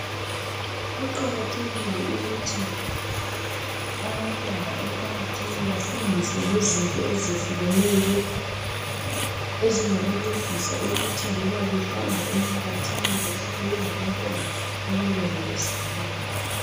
Kuqakathekile ukuthi abantwana emphakathini bafundiswe ngezinto ezehlukeneyo ezingabancedisa ukuthi loba behamba emphakathini behlale bengantwana abalondolozekileyo.